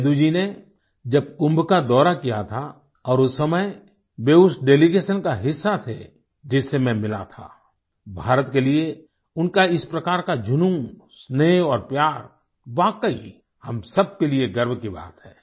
सेदू जी ने जब कुम्भ का दौरा किया था और उस समय वे उस डेलीगेशन का हिस्सा थे जिससे मैं मिला था भारत के लिए उनका इस प्रकार का जूनून स्नेह और प्यार वाकई हम सब के लिए गर्व की बात है